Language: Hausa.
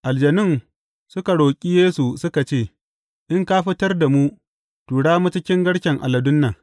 Aljanun suka roƙi Yesu suka ce, In ka fitar da mu, tura mu cikin garken aladun nan.